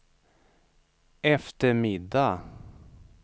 eftermiddag